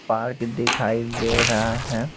Park दिखाई दे रहा है।